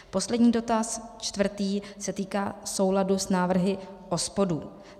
Poslední dotaz, čtvrtý, se týká souladu s návrhy OSPOD.